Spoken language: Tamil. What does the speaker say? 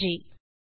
நன்றி